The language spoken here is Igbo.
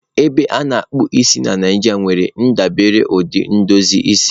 Ebe a na-akpụ isi na Nijiria nwere ndebiri ụdị edozi isi.